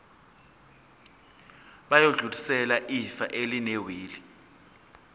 bayodlulisela ifa elinewili